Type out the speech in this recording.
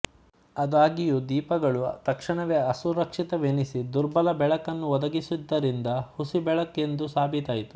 ಆದಾಗ್ಯೂದೀಪಗಳು ತಕ್ಷಣವೇ ಅಸುರಕ್ಷಿತವೆನಿಸಿ ದುರ್ಬಲ ಬೆಳಕನ್ನು ಒದಗಿಸಿದ್ದರಿಂದ ಹುಸಿ ಬೆಳಕೆಂದು ಸಾಬೀತಾಯಿತು